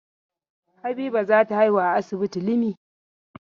Habiba za ta haihu a asibitin Limi.